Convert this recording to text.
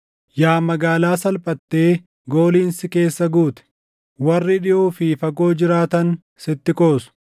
Yaa magaalaa salphatee gooliin si keessa guute, warri dhiʼoo fi fagoo jiraatan sitti qoosu.